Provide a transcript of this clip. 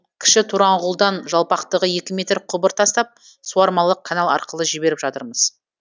кіші тораңғұлдан жалпақтығы екі метр құбыр тастап суармалы канал арқылы жіберіп жатырмыз